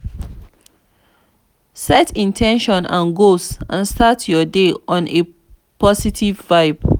set in ten tions and goals and start your day on a positive vibe